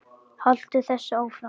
Haltu þessu áfram.